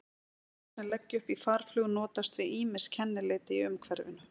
Fuglar sem leggja upp í farflug notast við ýmis kennileiti í umhverfinu.